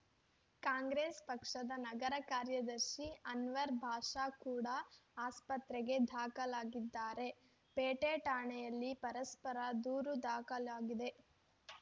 ಕಾಂಗ್ರೆಸ್‌ ಪಕ್ಷದ ನಗರ ಕಾರ್ಯದರ್ಶಿ ಅನ್ವರ್‌ ಭಾಷಾ ಕೂಡ ಆಸ್ಪತ್ರೆಗೆ ದಾಖಲಾಗಿದ್ದಾರೆ ಪೇಟೆ ಠಾಣೆಯಲ್ಲಿ ಪರಸ್ಪರ ದೂರು ದಾಖಲಾಗಿದೆ